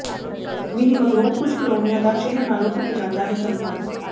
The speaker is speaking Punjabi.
ਮੀਂਹ ਮਗਰੋਂ ਕੁਝ ਕਾਲੋਨੀਆਂ ਦਾ ਸ਼ਹਿਰ ਨਾਲੋ ਟੁੱਟ ਜਾਂਦਾ ਹੈ ਸੰਪਰਕ